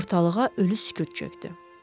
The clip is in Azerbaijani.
Ortalığa ölü sükut çökdü.